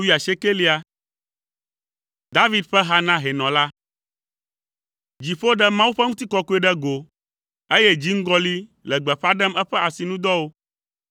David ƒe ha na hɛnɔ la. Dziƒo ɖe Mawu ƒe ŋutikɔkɔe ɖe go, eye dziŋgɔli le gbeƒã ɖem eƒe asinudɔwo.